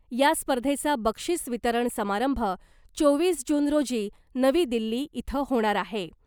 या स्पर्धेचा बक्षिस वितरण समारंभ चोवीस जून रोजी नवी दिल्ली इथं होणार आहे .